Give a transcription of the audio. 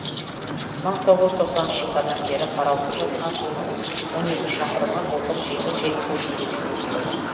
мың тоғыз жүз тоқсаныншы жылдардан бері қараусыз жатқан жолдың он екі шақырымы былтыр жеңіл желпі жөндеуден өтті